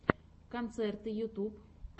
концерты ютьюб